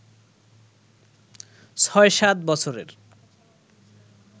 ৬/৭ বছরের